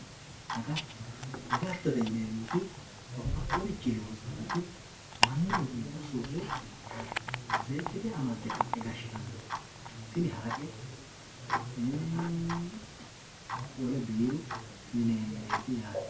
agatto agattote yineemoti babbadhiyooricnii loonsooniti mannunita surre seekite amadde ka"e gashshitanno tini haraqe, wole biiru yineemereeti yaate.